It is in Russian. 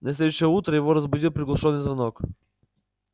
на следующее утро его разбудил приглушённый звонок